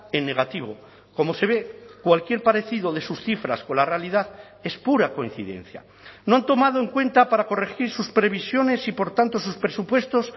en negativo como se ve cualquier parecido de sus cifras con la realidad es pura coincidencia no han tomado en cuenta para corregir sus previsiones y por tanto sus presupuestos